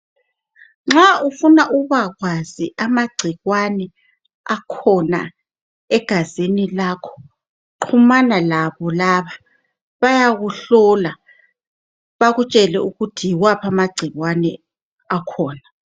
Nxa ufuna ukubakwazi ama ngcikwani akhona egazini lakho xhomana labo laba bayakuhlola bakutshele ukuthi yiwaphi amagcikwani akhona